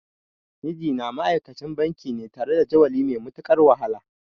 Mijina ma'aikacin banki ne tare da jadawali mai matuƙar wahala.